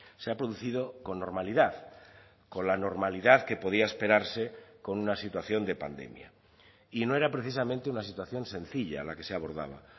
se ha producido con normalidad con la normalidad que podía esperarse con una situación de pandemia y no era precisamente una situación sencilla la que se abordaba